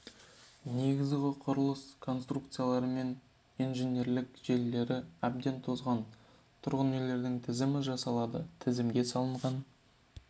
негізгі құрылыс конструкциялары мен инженерлік желілері әбден тозған тұрғын үйлердің тізімі жасалды тізімге салынған